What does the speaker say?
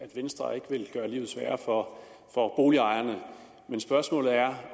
at venstre ikke vil gøre livet sværere for boligejerne men spørgsmålet er